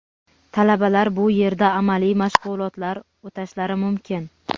Talabalar bu yerda amaliy mashg‘ulotlar o‘tashlari mumkin.